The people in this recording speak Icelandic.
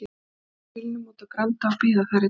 Keyra í bílnum út á Granda og bíða þar í dag.